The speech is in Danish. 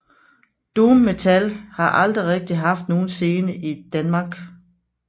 Doom metal har aldrig rigtig haft nogen scene i Danmark